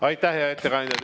Aitäh, hea ettekandja!